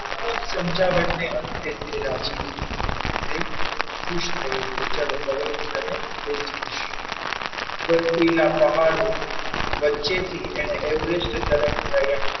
ખૂબ સમજણ અંતે તે રાજી થયો તે ખુશ થયો કે ચાલો હવે હું તને લઈ જઈશ. બર્ફીલા પહાડો વચ્ચેથી તેને everest તરફ પ્રયાણ,